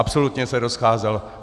Absolutně se rozcházel.